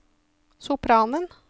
sopranen